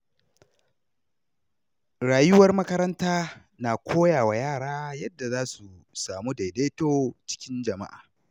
Rayuwar makaranta na koya wa yara yadda za su samu daidaito cikin jama’a.